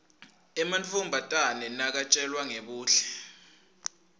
emantfombatane nakatjelwa ngebuhle